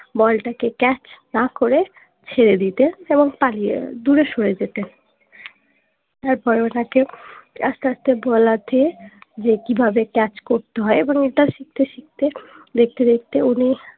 ball টা catch না করে ছেড়ে দিতেন এবং পালিয়ে দূরে সরে যেতেন তারপর ওনাকে আস্তে আস্তে বলাতে যে কিভাবে ক্যাচ করতে হয় এবং এটা শিখতে শিখতে দেখতে দেখতে উনি